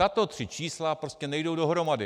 Tato tři čísla prostě nejdou dohromady.